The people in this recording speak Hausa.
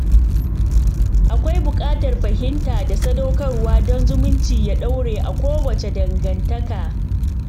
Akwai buƙatar fahimta da sadaukarwa don zumunci ya dore a kowace dangantaka